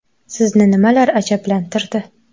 Sizni nimalar ajablantirdi.